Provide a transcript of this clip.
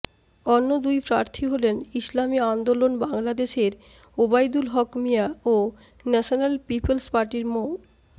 অন্য দুই প্রার্থী হলেন ইসলামী আন্দোলন বাংলাদেশের ওবাইদুল হক মিয়া ও ন্যাশনাল পিপলস পার্টির মো